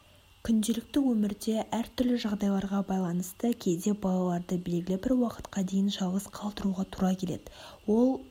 күнделікті өмірде әртүрлі жағдайларға байланысты кейде балаларды белгілі бір уақытқа дейін жалғыз қалдыруға тура келеді ол